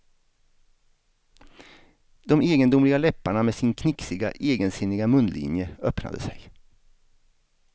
De egendomliga läpparna med sin knixiga egensinniga munlinje öppnade sig.